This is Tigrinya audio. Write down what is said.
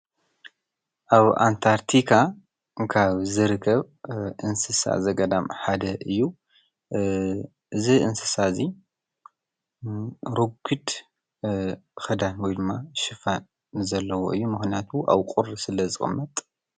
ኣብ ኣንታርቲካ ካብ ዝርከብ እንስሳ ዘገዳም ሓደ እዩ። እዚ እንስሳ እዚ ረጊድ ኽዳን ወይ ድማ ሸፋን ዘለዎ ዘለዎ እዩ። ምክነያቱ ኣብ ቁሪ ስለዝቅመጥ ።